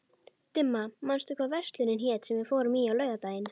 Dimma, manstu hvað verslunin hét sem við fórum í á laugardaginn?